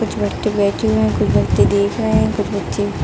कुछ व्यक्ति बैठे हैं कुछ देख रहे हैं कुछ व्यक्ति--